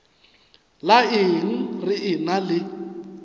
la eng re ena le